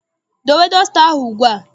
Dowe dọsta ahụ ugbu a!